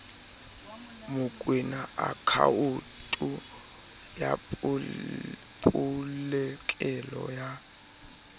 mokoena akhaonto ya polokelo ya